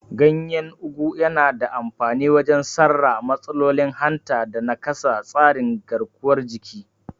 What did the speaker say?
Ganyen Ugu yana da amfani wajen sarra matsalolin hanta da nakasa tsarin garkuwar jiki.